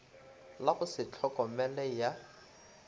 la go se tlhokomele ya